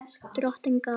Drottin gaf.